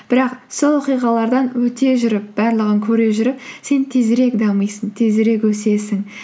бірақ сол оқиғалардан өте жүріп барлығын көре жүріп сен тезірек дамисың тезірек өсесің